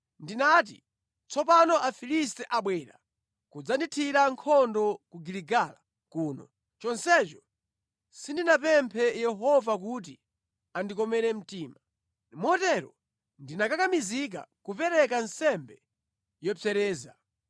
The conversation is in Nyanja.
ndinati, ‘Tsopano Afilisti abwera kudzandithira nkhondo ku Giligala kuno, chonsecho sindinapemphe Yehova kuti andikomere mtima.’ Motero ndinakakamizika kupereka nsembe yopsereza.”